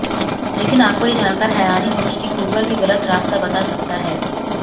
लेकिन आपको ये जानकर हैरानी होगी कि गूगल भी गलत रास्ता बता सकता है